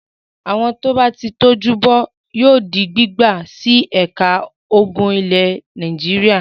Àwọn tó bá ti tọ́jú bọ́ yóò di gbígbà sí ẹ̀ka ogun ilẹ̀ Nàìjíríà.